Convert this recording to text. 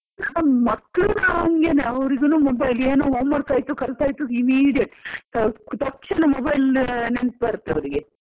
ಮಕ್ಳು ಹಂಗೆನೇ ಅವ್ರಿಗೂ mobile ಏನು home work ಆಯ್ತು ಕಲ್ತ್ ಆಯ್ತು immediate ತಕ್ಷಣ mobile ನೆನ್ಪ್ ಬರ್ತ್ ಅವ್ರಿಗೆ.